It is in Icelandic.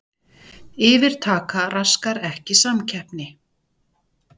Yfirtaka raskar ekki samkeppni